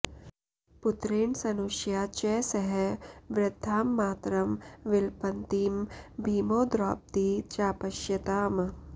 पुत्रेण स्नुषया च सह वृद्धां मातरं विलपन्तीं भीमो द्रौपदी चापश्यताम्